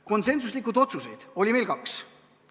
Konsensuslikke otsuseid oli kaks.